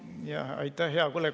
Aitäh, hea kolleeg!